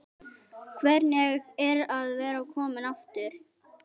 Hvernig er að vera kominn aftur?